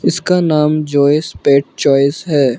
इसका नाम Joe's pet choice है।